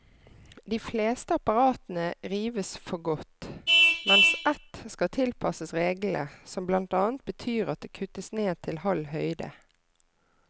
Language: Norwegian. De fleste apparatene rives for godt, mens ett skal tilpasses reglene, som blant annet betyr at det kuttes ned til halv høyde.